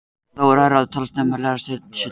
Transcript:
Þá er hærri talan snemma og lægri talan seint.